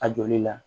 A joli la